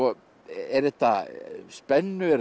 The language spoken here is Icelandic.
er þetta spenna er